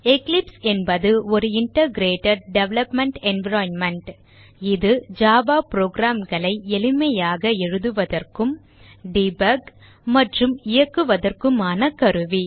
Eclipse என்பது ஒரு integrated development environment இது ஜாவா program களை எளிமையாக எழுதுவதற்கும் டெபக் மற்றும் இயக்குவதற்குமான கருவி